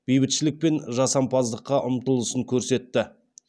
бейбітшілік пен жасампаздыққа ұмтылысын көрсетті